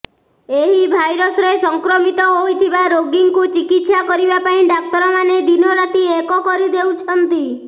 ଏହି ଭାଇରସ୍ରେ ସଂକ୍ରମିତ ହୋଇଥିବା ରୋଗୀଙ୍କୁ ଚିକିତ୍ସା କରିବା ପାଇଁ ଡାକ୍ତରମାନେ ଦିନ ରାତି ଏକ କରିଦେଉଛନ୍ତି